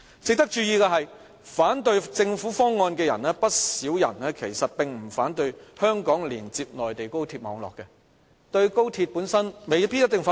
值得注意的是，不少反對政府方案的人其實並不反對香港連接內地高鐵網絡，對"一地兩檢"本身未必一定反對。